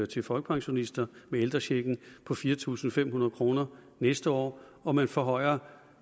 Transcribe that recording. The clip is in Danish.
til folkepensionister med ældrechecken på fire tusind fem hundrede kroner næste år og man forhøjer